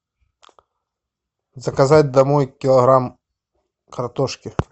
заказать домой килограмм картошки